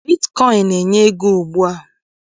Bitkọịn na-enye ego ugbua